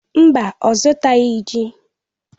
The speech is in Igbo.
Mba, ọ zụtaghị ji.